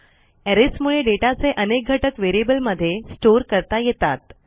arrays मुळे डेटाचे अनेक घटक व्हेरिएबल मध्ये स्टोअर करता येतात